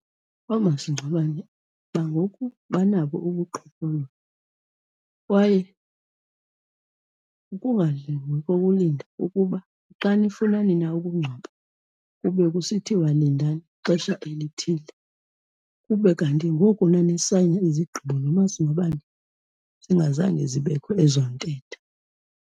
Oomasingcwabane bangoku banabo ubuqhophololo kwaye ukungalungi kokulinda ukuba xa nifuna nina ukungcwaba kube kusithiwa lindani ixesha elithile kube kanti ngoku nanisayina izigqibo nomasingcwabane zingazange zibekho ezo ntetha.